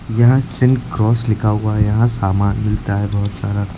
यहां सिनक्रॉस लिखा हुआ है यहां सामान मिलता है बहुत सारा।